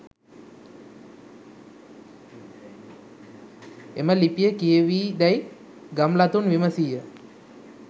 එම ලිපිය කියවී දැයි ගම්ලතුන් විමසීය.